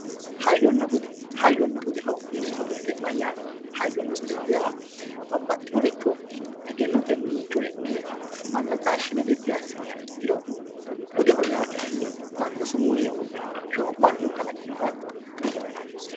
Hayyonna budde, hayyonna budde yineemo woyite mayyatte, hayyonna budde yineemo woyite babaxinoricho eggenote coyi'ne mana taashine bidi assini ikkiro, budde yaa kayinni Manu sumuu yee wodhinoha Manu kalaqinoha buddeeho yinanni